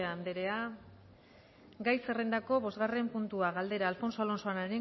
anderea gai zerrendako bosgarren puntua galdera alfonso alonso